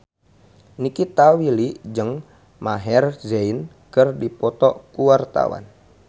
Nikita Willy jeung Maher Zein keur dipoto ku wartawan